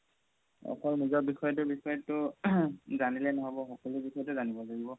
অকল নিজৰ বিষয়তো throat বিষয়ে জানিলে নহ'ব সকলো বিষয়তে জানিব লাগিব